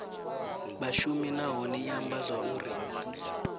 vhashumi nahone i amba zwauri